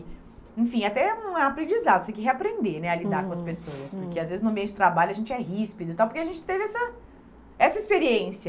Enfim, até um é aprendizado, você tem que reaprender né a lidar com as pessoas, porque às vezes no meio de trabalho a gente é ríspido e tal, porque a gente teve essa essa experiência.